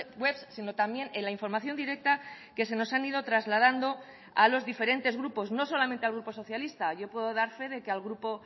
web sino también en la información directa que se nos han ido trasladando a los diferentes grupos no solamente al grupo socialista yo puedo dar fe de que al grupo